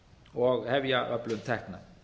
og hefja öflun tekna